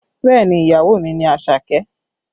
Bẹẹ ni, ìyàwó mi ni Àṣàkẹ́?